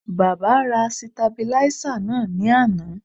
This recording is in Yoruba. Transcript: Baba ra sitabiláísà náà ní àná